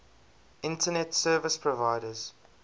internet service providers